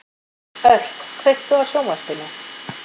Örk, kveiktu á sjónvarpinu.